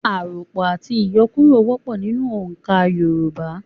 Àròpọ̀ àti ìyọkúrọ̀ wọ́pọ̀ nínú oǹkà Yorùbá.